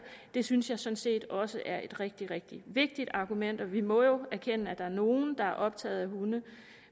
det synes jeg sådan set også er et rigtig rigtig vigtigt argument vi må jo erkende at der er nogle der er optaget af hunde